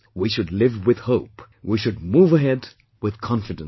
We should live with hope, we should move ahead with confidence